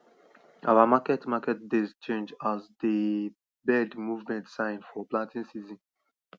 our market market days change as dey bird movement sign for planting season